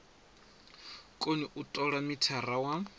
koni u tola mithara wa